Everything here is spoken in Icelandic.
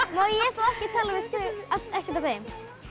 má ég þá ekki tala við ekkert af þeim